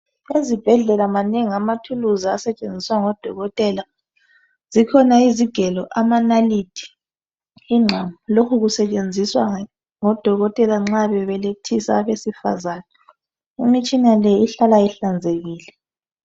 Ezibhedlela manengi amathuluzi asetshenziswa ngodokotela zikhona izigelo amanalithi ingqamu lokhu kusetshenziswa ngodokotela nxa bebelethisa abesifazana imitshina le ihlala ihlanzekile.